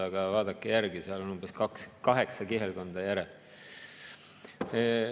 Aga vaadake järele, seal on umbes kaheksa kihelkonda järel.